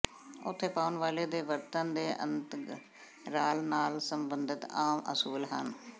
ਉੱਥੇ ਪਾਉਣ ਵਾਲੇ ਦੇ ਵਰਤਣ ਦੇ ਅੰਤਰਾਲ ਨਾਲ ਸਬੰਧਤ ਆਮ ਅਸੂਲ ਹਨ